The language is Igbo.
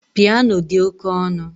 Piano dị oke ọnụ